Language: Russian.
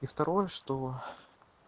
и второе что